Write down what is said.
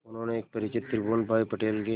उन्होंने एक परिचित त्रिभुवन भाई पटेल के